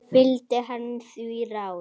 Fylgdi hann því ráði.